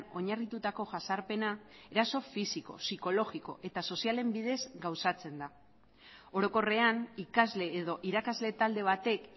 oinarritutako jazarpena eraso fisiko psikologiko eta sozialen bidez gauzatzen da orokorrean ikasle edo irakasle talde batek